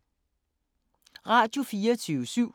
Radio24syv